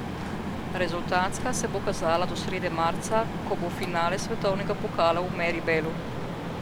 Rezultatska se bo kazala do srede marca, ko bo finale svetovnega pokala v Meribelu.